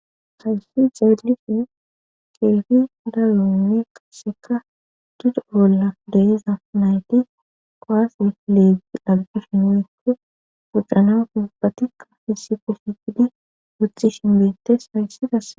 hayssi xeelishin keefi dalonne qasseka dudo bolla deiza nayti qoase leegi aggishi uykke fucana pubbatikka hisife shiidi wuthishin bettes hayssi qase